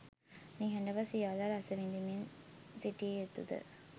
නිහඬව සියල්ල රස විදිමින්සිටිය යුතුද?